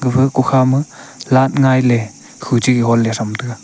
gapha kokha ma light ngailey khuchege gonley thram taiga.